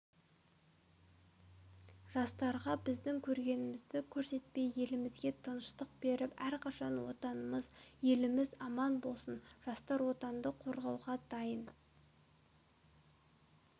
жастарға біздің көргенімізді көрсетпей елімізге тыныштық беріп әрқашан отанымыз еліміз аман болсын жастар отанды қорғауға дайын